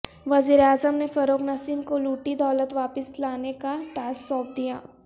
وزیراعظم نے فروغ نسیم کو لوٹی دولت واپس لانے کا ٹاسک سونپ دیا